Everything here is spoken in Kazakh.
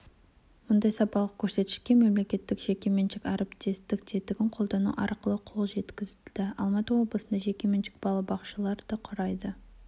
мұндай сапалық көрсеткішке мемлекеттік-жекеменшік әріптестік тетігін қолдану арқылы қол жеткізілді алматы облысында жекеменшік балабақшалар құрайды